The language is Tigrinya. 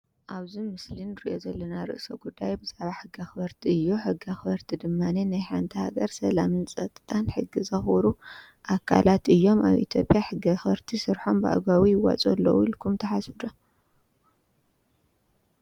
ኣብዚ ምስሊ እንሪኦ ዘለና ርእሰ ጉዳይ ብዛዕባ ሕጊ ኣክበርቲ እዩ፤ ሕጊ ኣክበርቲ ድማ ናይ ሓንቲ ሃገር ሰላምን ፀጥታን ሕጊ ዘክብሩ ኣካለት እዮም፡፡ ኣብ ኢ/ያ ሕጊ ኣክበርቲ ስርሖም ብኣግባቡ ሕጊ ይዋፅኡ ኣለው ኢልኩም ትሓስቡ ዶ?